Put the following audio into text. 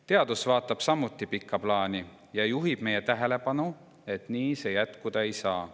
Teadus vaatab samuti pikka plaani ja juhib meie tähelepanu, et nii see jätkuda ei saa.